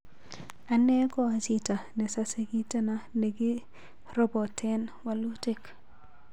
Ane koa jito nesase kiteno nekirotepen walutik..